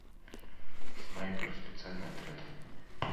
снайпер специальный отряд